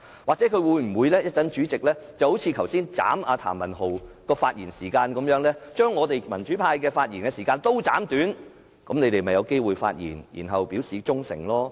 或者主席可以像剛才縮減譚文豪議員發言時間一樣，將民主派議員的發言時間全部縮短，那麼建制派議員便有機會可以發言，表示他們的忠誠。